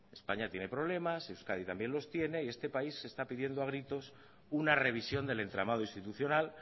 españa tiene problemas euskadi también los tiene y este país está pidiendo a gritos una revisión del entramado institucional